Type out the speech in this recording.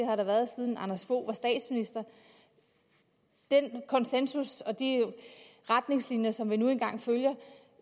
har der været siden anders fogh rasmussen var statsminister den konsensus og de retningslinjer som vi nu engang følger